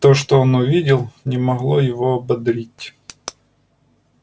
то что он увидел не могло его ободрить